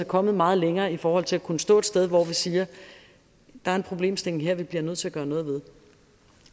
kommet meget længere i forhold til at kunne stå et sted hvor vi siger der er en problemstilling her vi bliver nødt til at gøre noget ved